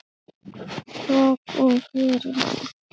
Hvað kom fyrir hann?